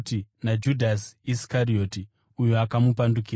naJudhasi Iskarioti, uyo akamupandukira.